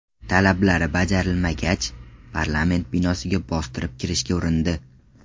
Talablari bajarilmagach, parlament binosiga bostirib kirishga urindi.